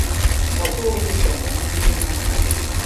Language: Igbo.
Ọ bụghị gị kpatara ọnwụ nne na nna gị!